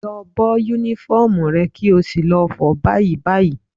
Lọ bọ́ Únífọ́ọ̀mù rẹ kí o sì lọ fọ̀ ọ́ báyìí báyìí